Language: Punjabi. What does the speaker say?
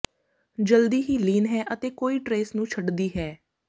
ਜਲਦੀ ਹੀ ਲੀਨ ਹੈ ਅਤੇ ਕੋਈ ਟਰੇਸ ਨੂੰ ਛੱਡਦੀ ਹੈ